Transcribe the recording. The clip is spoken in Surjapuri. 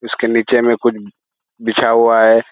इसके नीचे में कुछ बिछा हुआ है